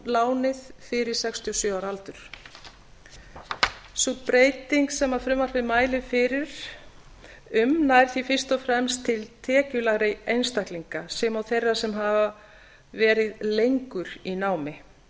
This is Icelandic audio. lánið fyrir sextíu og sjö ára aldur sú breyting sem frumvarpið mælir fyrir um nær því fyrst og fremst til tekjulægri einstaklinga sem og þeirra sem hafa verið lengur í námi